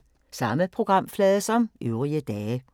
Samme programflade som øvrige dage